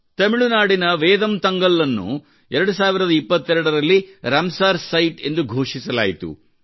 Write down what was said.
ತಮಿಳುನಾಡಿನ ವೇದಂತಂಗಲ್ ಅನ್ನು 2022 ರಲ್ಲಿ ರಾಮಸರ್ ಸೀತೆ ಎಂದು ಘೋಷಿಸಲಾಯಿತು